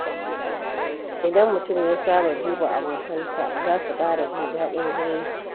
Idan mutum ya saba duba abokansa, za su ƙara jin daɗin zumunci.